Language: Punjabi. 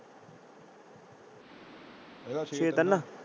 ਮੇਰਾ ਛੇ ਤਿਨ।